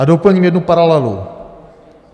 A doplním jednu paralelu.